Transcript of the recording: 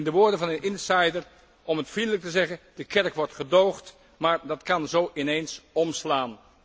Met de woorden van een insider om het vriendelijk te zeggen de kerk wordt gedoogd, maar dat kan zó ineens omslaan.